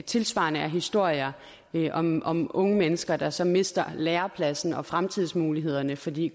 tilsvarende er historier om om unge mennesker der så mister lærepladsen og fremtidsmulighederne fordi